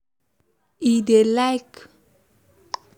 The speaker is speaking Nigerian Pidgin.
he dey let e self know say e don cross the bridge before so another one no go hard am